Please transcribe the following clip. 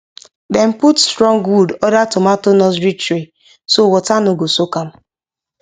dem put strong wood under tomato nursery tray so water no go soak am